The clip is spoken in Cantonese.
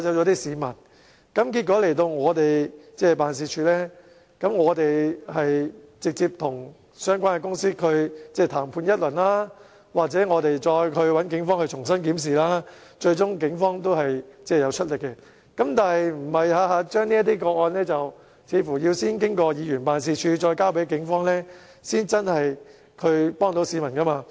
結果投訴人到來我們的辦事處，我們直接與相關公司談判一番，又或找警方重新檢視，最終警方會出力，但似乎這些個案每每首先要經議員辦事處再交給警方，才能真正幫助市民。